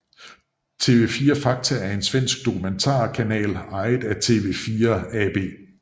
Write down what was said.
TV4 Fakta er en Svensk dokumentar kanal ejet af TV4 AB